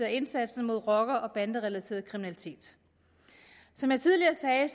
af indsatsen mod rocker og banderelateret kriminalitet som jeg tidligere sagde er